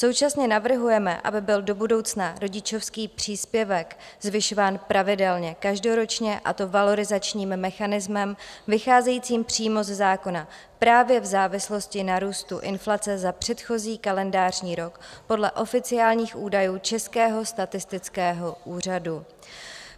Současně navrhujeme, aby byl do budoucna rodičovský příspěvek zvyšován pravidelně každoročně, a to valorizačním mechanismem vycházejícím přímo ze zákona právě v závislosti na růstu inflace za předchozí kalendářní rok podle oficiálních údajů Českého statistického úřadu.